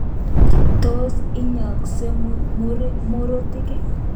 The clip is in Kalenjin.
Tos inyooksei mirutik